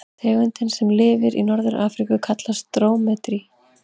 Tegundin sem lifir í Norður-Afríku kallast drómedari.